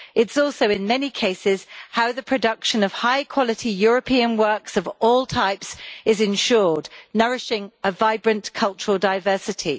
It is also in many cases how the production of high quality European works of all types is ensured, nourishing a vibrant cultural diversity.